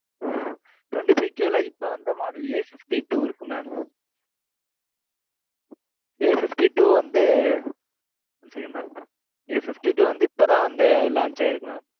twenty five K ல, இப்ப வந்த model A two இருக்கு mam fifty two வந்து, இப்பதான் வந்து, launch ஆயிருக்கு, mam